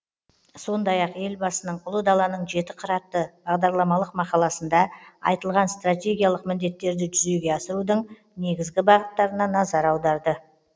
сондай ақ елбасының ұлы даланың жеті қыры атты бағдарламалық мақаласында айтылған стратегиялық міндеттерді жүзеге асырудың негізгі бағыттарына назар аударды